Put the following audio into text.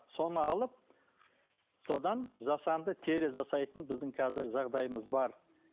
соны алып содан жасанды тері жасайтын біздің қазір жағдайымыз бар